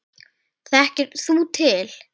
Þekkir þú til?